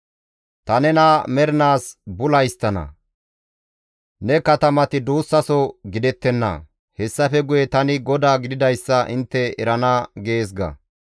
Ta nena mernaas bula histtana; ne katamati duussaso gidettenna; hessafe guye tani GODAA gididayssa intte erana› gees ga.